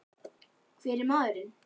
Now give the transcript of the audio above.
Hver er maðurinn?